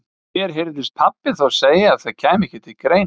Mér heyrðist pabbi þá segja að það kæmi ekki til greina.